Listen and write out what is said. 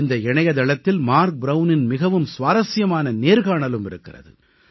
இந்த இணையதளத்தில் மார்க் ப்ரவுனின் மிகவும் சுவாரசியமான நேர்காணலும் இருக்கிறது